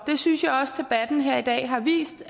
synes jeg også debatten her i dag har vist